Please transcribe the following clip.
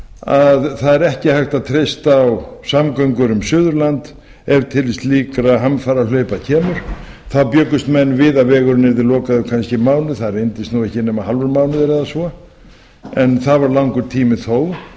að það er ekki hægt að treysta á samgöngur um suðurland ef til slíkra hamfarahlaupa kemur þá bjuggust menn við að vegurinn yrði lokaður kannski í mánuð það reyndist ekki nema hálfur mánuður eða svo en það var langur tími þó